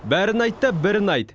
бәрін айт та бірін айт